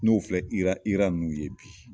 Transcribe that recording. N'o filɛ IRA IRA ninnu ye bi.